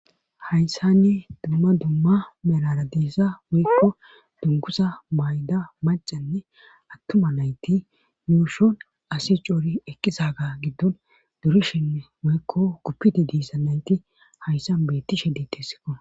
hayssanne dumma dumma melara diissa woykko dungusa mayda macenne attuma nayti yuushon asi coori eqqisaga giddon durishenne woykko uppidi diisa nayti hayssan betti she detessikko